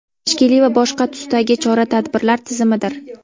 tashkiliy va boshqa tusdagi chora-tadbirlar tizimidir.